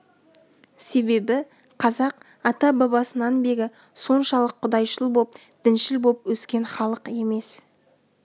себебі қазақ ата-бабасынан бері соншалық құдайшыл боп діншіл боп өскен халық емес